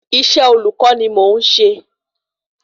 Iṣẹ́ olùkọ́ ni mò n ṣe